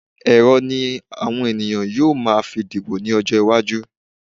Ẹ̀rọ ni àwọn ènìyàn yóò máa fi dìbò ní ọjọ́ iwájú